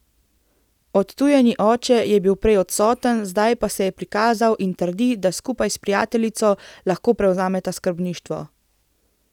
Odtujeni oče je bil prej odsoten, zdaj pa se je prikazal in trdi, da skupaj s prijateljico lahko prevzameta skrbništvo.